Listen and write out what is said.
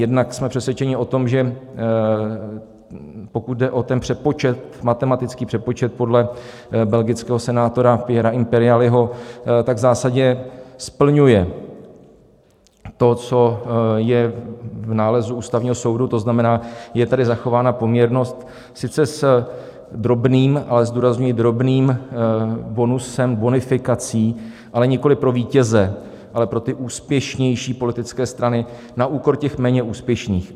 Jednak jsme přesvědčeni o tom, že pokud jde o ten přepočet, matematický přepočet podle belgického senátora Pierra Imperialiho, tak v zásadě splňuje to, co je v nálezu Ústavního soudu, to znamená, je tady zachována poměrnost sice s drobným, ale zdůrazňuji drobným bonusem, bonifikací, ale nikoliv pro vítěze, ale pro ty úspěšnější politické strany na úkor těch méně úspěšných.